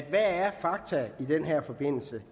er i den her forbindelse